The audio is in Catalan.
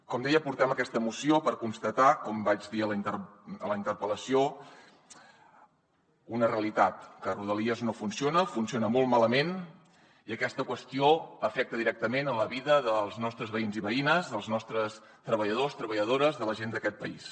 com deia portem aquesta moció per constatar com vaig dir a la interpel·lació una realitat que rodalies no funciona funciona molt malament i aquesta qüestió afecta directament la vida dels nostres veïns i veïnes els nostres treballadors treballadores la gent d’aquest país